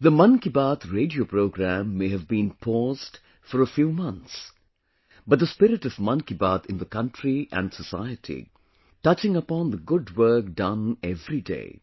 The ‘Mann Ki Baat’ radio program may have been paused for a few months, but the spirit of ‘Mann Ki Baat’ in the country and society, touching upon the good work done every day,